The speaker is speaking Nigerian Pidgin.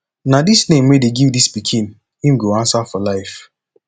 na dis name wey dey give dis pikin im go answer for life